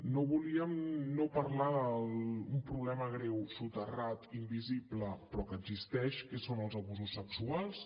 no volíem no parlar d’un problema greu soterrat invisible però que existeix que són els abusos sexuals